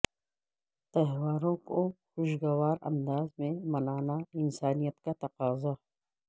تہواروں کو خوشگوار انداز میں منانا انسانیت کا تقاضہ